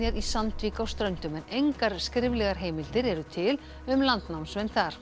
í Sandvík á Ströndum en engar skriflegar heimildir eru til um landnámsmenn þar